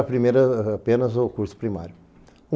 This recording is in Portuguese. primeiro apenas o curso primário.